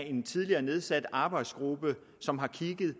en tidligere nedsat arbejdsgruppe som har kigget